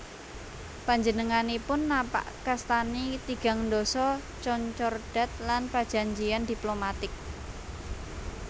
Panjenenganipun napakastani tigang ndasa concordat lan prajanjian diplomatik